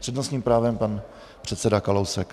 S přednostním právem pan předseda Kalousek.